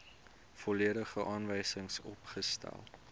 volledige aanwysings opgestel